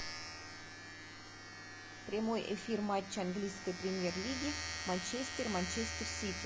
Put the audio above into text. прямой эфир матча английской премьер лиги манчестер манчестер сити